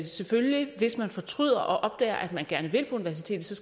selvfølgelig hvis man fortryder og opdager at man gerne vil på universitetet